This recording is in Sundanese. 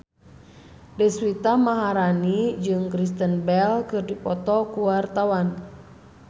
Deswita Maharani jeung Kristen Bell keur dipoto ku wartawan